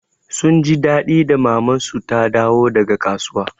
Sun ji daɗi da maman su ta dawo daga kasuwa.